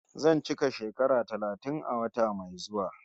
Zan cika shekara talatin a wata mai zuwa